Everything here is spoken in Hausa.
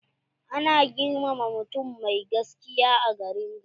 Ana girmama mutum mai gaskiya a garin ga.